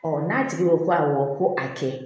n'a tigi ye ko awɔ ko a kɛ